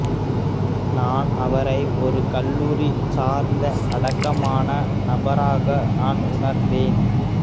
நான் அவரை ஒரு கல்லூரி சார்ந்த அடக்கமான நபராக நான் உணர்ந்தேன்